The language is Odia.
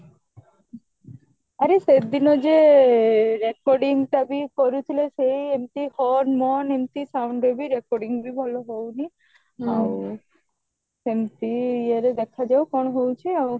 ଆରେ ସେଦିନ ଯିଏ recording ଟା ବି କରୁଥିଲେ ସେ ଏମିତି horn ମର୍ଣ୍ଣ ଏମିତି sound ରେ ବି recording ବି ଭଲ ହଉନି ଆଉ ସେମିତି ଇଏରେ ଦେଖାଯାଉ କଣ ହଉଛି ଆଉ